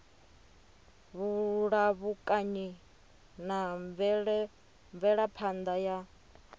vhulamukanyi na mvelaphan ḓa ya